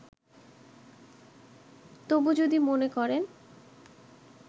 তবু যদি মনে করেন